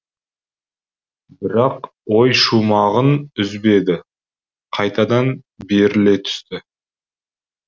бірақ ой шумағын үзбеді қайтадан беріле түсті